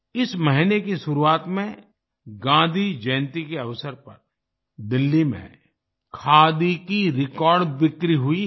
इस महीने की शुरुआत में गांधी जयन्ती के अवसर पर दिल्ली में खादी की रिकॉर्ड बिक्री हुई